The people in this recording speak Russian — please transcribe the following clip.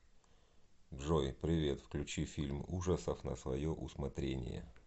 джой привет включи фильм ужасов на свое усмотрение